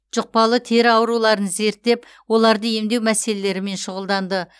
жұқпалы тері ауруларын зерттеп оларды емдеу мәселелерімен шұғылданды